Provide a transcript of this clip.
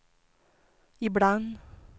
ibland